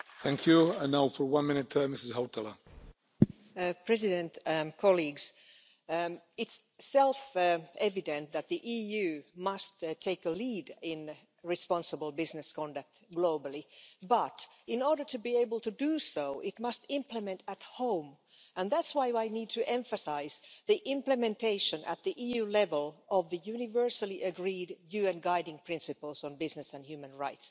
Mr President, it's self evident that the EU must take the lead in responsible business conduct globally but, in order to be able to do so, it must implement at home, and that's why I need to emphasise the implementation at EU level of the universally agreed UN Guiding Principles on Business and Human Rights. Where is our action?